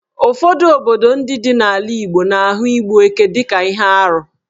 Ụfọdụ obodo ndị dị n'ala Igbo na-ahụ igbu ekè dị ka ihe arụ.